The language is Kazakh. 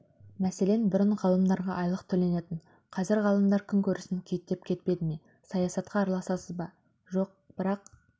мәселен бұрын ғалымдарға айлық төленетін қазір ғалымдар күнкөрісін күйттеп кетпеді ме саясатқа араласасыз ба жоқ бірақ